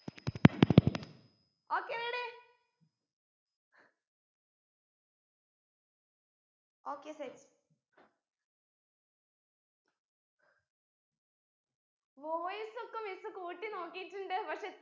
okay ready okay setvoice ഒക്കെ miss കൂട്ടി നോക്കിട്ടുണ്ട് പക്ഷെ